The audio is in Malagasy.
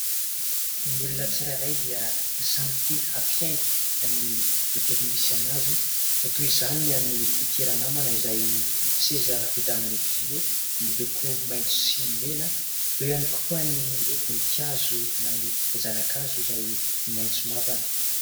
Ny olona tsirairay dia samy te hampiaingo ny tontolo misy anazy, toy izany ny an'ity ranamana izay seza vita amin'ny vy miloko maitso sy mena, ao ihany koa ny voninkazo na ny zanan-kazo izay maitso mavana.